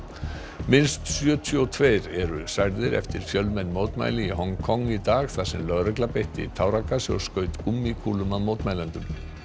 minnst sjötíu og tveir eru særðir eftir fjölmenn mótmæli í Hong Kong í dag þar sem lögregla beitti táragasi og skaut gúmmíkúlum að mótmælendum